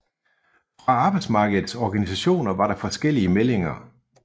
Fra arbejdsmarkedets organisationer var der forskellige meldinger